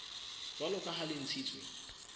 jwalo ka ha le ntshitswe